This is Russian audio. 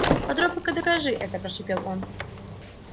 попробуй-ка докажи это прошипел он